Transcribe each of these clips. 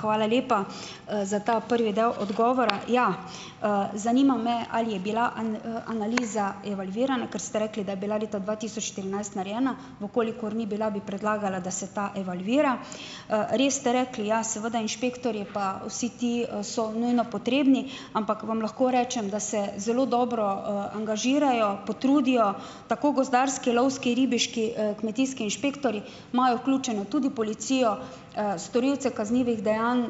Hvala lepa, za ta prvi del odgovora. Ja, zanima me, ali je bila analiza evalvirana, ker ste rekli, da je bila leta dva tisoč štirinajst narejena. V kolikor ni bila, bi predlagala, da se ta evalvira. Res ste rekli, ja, seveda, inšpektorji, pa vsi ti so nujno potrebni, ampak vam lahko rečem, da se zelo dobro angažirajo, potrudijo, tako gozdarski, lovski, ribiški, kmetijski inšpektorji, imajo vključeno tudi policijo, storilce kaznivih dejanj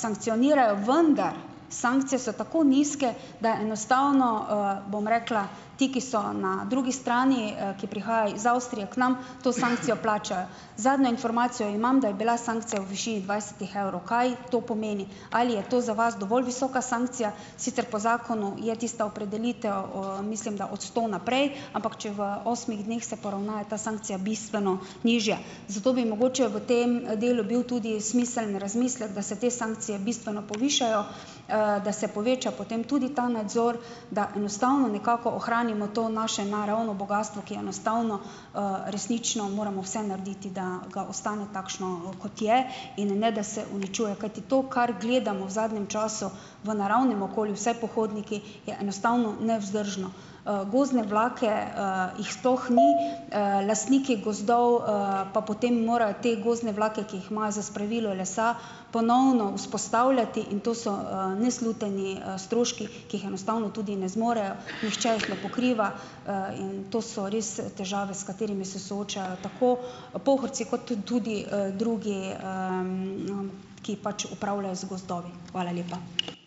sankcionirajo, vendar sankcije so tako nizke, da enostavno, bom rekla, ti, ki so na drugi strani, ki prihajajo iz Avstrije k nam, to sankcijo plačajo. Zadnjo informacijo imam, da je bila sankcija v višini dvajsetih evrov. Kaj to pomeni? Ali je to za vas dovolj visoka sankcija? Sicer po zakonu je tista opredelitev, mislim da, od sto naprej, ampak če v osmih dneh se poravna, je ta sankcija bistveno nižja. Zato bi mogoče v tem delu bil tudi smiseln razmislek, da se te sankcije bistveno povišajo, da se poveča potem tudi ta nadzor, da enostavno nekako ohranimo to naše naravno bogastvo, ki enostavno, resnično moramo vse narediti, da ga ostane takšno, kot je, in ne, da se uničuje. Kajti to, kar gledamo v zadnjem času v naravnem okolju, vsi pohodniki, je enostavno nevzdržno. Gozdne vlake, jih sploh ni. Lastniki gozdov, pa potem morajo te gozdne vlake, ki jih imajo za spravilo lesa, ponovno vzpostavljati in to so, nesluteni stroški, ki jih enostavno tudi ne zmorejo, nihče jih ne pokriva, in to so res težave, s katerimi se soočajo tako Pohorci kot tudi drugi, ki pač upravljajo z gozdovi. Hvala lepa.